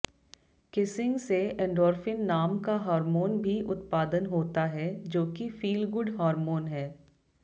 kissing से endorphin नाम का हार्मोन भी उत्पादन होता है जोकि फील गुड हार्मोन है